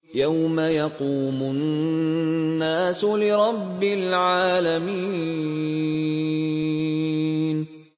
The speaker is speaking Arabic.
يَوْمَ يَقُومُ النَّاسُ لِرَبِّ الْعَالَمِينَ